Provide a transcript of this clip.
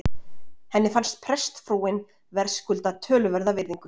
Henni fannst prestsfrúin verðskulda töluverða virðingu.